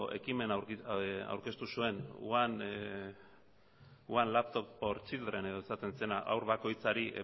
ekimen aurkeztu zuen one laptop for children edo esaten zena haur bakoitzari